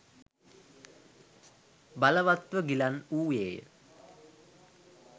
බලවත්ව ගිලන් වූයේය.